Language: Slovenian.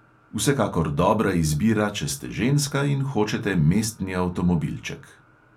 Vsekakor dobra izbira, če ste ženska in hočete mestni avtomobilček.